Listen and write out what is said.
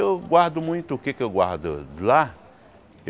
Eu guardo muito o que é que eu guardo lá.